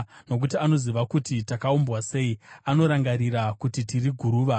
nokuti anoziva kuti takaumbwa sei, anorangarira kuti tiri guruva.